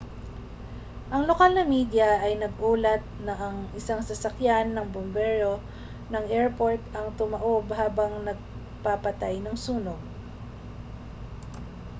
ang lokal na media ay nag-ulat na ang isang sasakyan ng bombero ng airport ang tumaob habang nagpapatay ng sunog